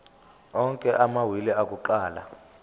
onke amawili akuqala